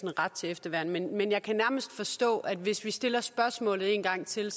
en ret til efterværn men jeg kan nærmest forstå at hvis vi stiller spørgsmålet en gang til